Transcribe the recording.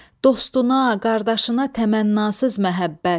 Dostuna, qardaşına təmənnasız məhəbbət.